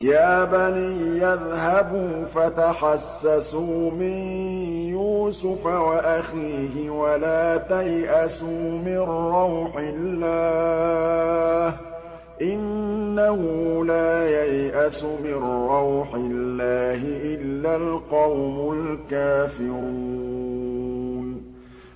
يَا بَنِيَّ اذْهَبُوا فَتَحَسَّسُوا مِن يُوسُفَ وَأَخِيهِ وَلَا تَيْأَسُوا مِن رَّوْحِ اللَّهِ ۖ إِنَّهُ لَا يَيْأَسُ مِن رَّوْحِ اللَّهِ إِلَّا الْقَوْمُ الْكَافِرُونَ